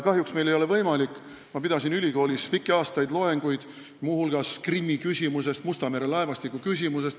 Ma pidasin pikki aastaid ülikoolis loenguid, muu hulgas Krimmi ja Musta mere laevastiku küsimuses.